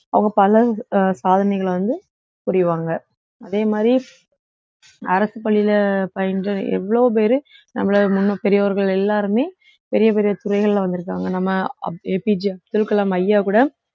அவங்க பல அஹ் சாதனைகளை வந்து புரிவாங்க அதே மாதிரி அரசு பள்ளியில பயின்ற எவ்ளோ பேரு தமிழக முன்னாள் பெரியோர்கள் எல்லாருமே பெரிய பெரிய துறைகள்ல வந்திருக்காங்க நம்ம அப்~ A P J Abdul Kalam ஐயா கூட